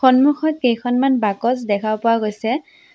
সন্মুখত কেইখনমান বাকচ দেখা পোৱা গৈছে।